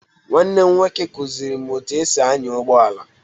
Nwanne m nwoke kụziiri m otú e si anya ụgbọ ala.